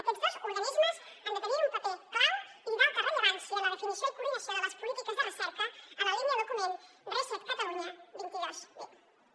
aquests dos organismes han de tenir un paper clau i d’alta rellevància en la definició i coordinació de les polítiques de recerca en la línia del document catalunya dos mil dos cents i vint reset